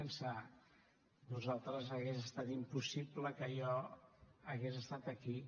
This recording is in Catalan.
sense vosaltres hagués estat impossible que jo hagués estat aquí